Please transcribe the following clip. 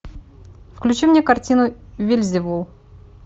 включи мне картину вельзевул